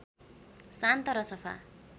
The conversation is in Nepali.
शान्त र सफा